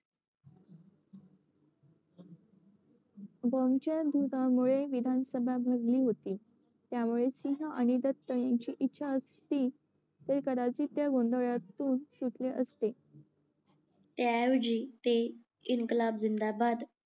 bomb च्यामुळे विधानसभा गजबजली होती त्यामुळे सिंग आणि दत्त ते कदाचित त्या गोंधळातून सुटले असते त्या ऐवजी ते इन्कलाब जिंदाबाद